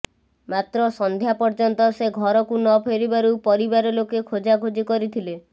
ମାତ୍ର ସନ୍ଧ୍ୟା ପର୍ଯ୍ୟନ୍ତ ସେ ଘରକୁ ନ ଫେରିବାରୁ ପରିବାର ଲୋକେ ଖୋଜାଖୋଜି କରିଥିଲେ